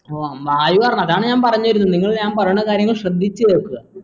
ഉം വ വായു തർണം അതാണ് ഞാൻ പറഞ്ഞ് വരുന്നത് നിങ്ങൾ ഞാൻ പറയണ കാര്യങ്ങൾ ശ്രദ്ധിച്ച് കേൾക്കാ